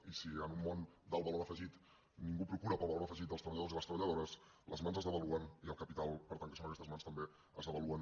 i si en un món d’alt valor afegit ningú procura pel valor afegit dels treballadors i les treballadores les mans es devaluen i el capital per tant que són aquestes mans també es devalua